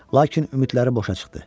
Lakin ümidləri boşa çıxdı.